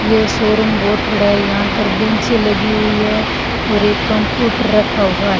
ये शोरूम बहोत बड़ा है यहां पर बेंचे लगी हुई है और एक कंप्यूटर रखा हुआ है।